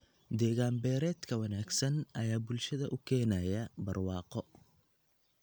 Deegaan beereedka wanaagsan ayaa bulshada u keenaya barwaaqo.